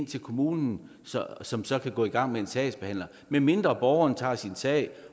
til kommunen som så kan gå i gang med en sagsbehandling medmindre borgeren tager sin sag